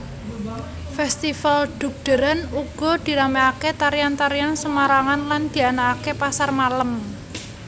Festival dugderan uga dirameaké tarian tarian Semarangan lan dianaaké pasar malam